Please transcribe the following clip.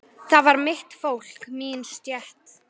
Það var mitt fólk, mín stétt.